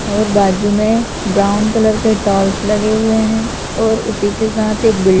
और बाजू में ब्राउन कलर के टोल्स लगे हुए हैं और उसी के साथ एक बिल्डिंग --